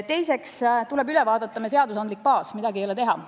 Teiseks, tuleb üle vaadata meie seadusandlik baas, midagi ei ole teha.